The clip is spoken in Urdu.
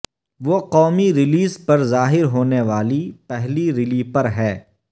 وہ قومی ریلیز پر ظاہر ہونے والی پہلی ریلیپر ہے